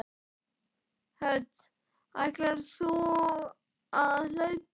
Hödd: Ætlar þú að hlaupa?